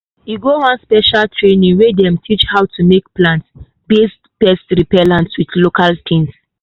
e go one special training wey dem take teach how to make plant-based pest repellent with local tings.